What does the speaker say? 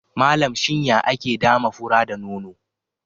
Malam, shin ya ake dama fura da nono?